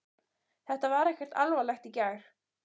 Þetta var ekkert alvarlegt í gær.